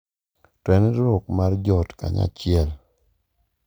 To en riwruok mar joot kanyachiel.